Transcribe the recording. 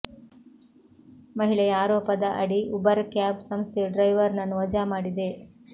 ಮಹಿಳೆಯ ಆರೋಪದ ಅಡಿ ಉಬರ್ ಕ್ಯಾಬ್ ಸಂಸ್ಥೆಯು ಡ್ರೈವರ್ ನನ್ನು ವಜಾ ಮಾಡಿದೆ